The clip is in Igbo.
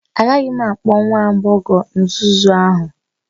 Agaghị m akpọ nwa agbọghọ nzuzu ahụ